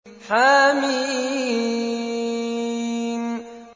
حم